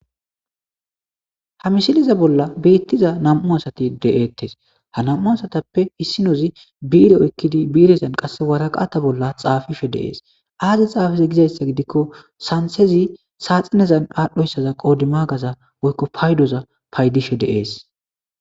ha mishiliza bolla biittiza nam7u asati de7eettes ha nam7u asatappe hissinozi biire oykkidi biirezan qasse waraqata bolla xaafife deees aaze xaafize gizayssa gidikko santezi saaxinezan aadhdhoyssaza qoodima gaza woykko paydoza paydife deees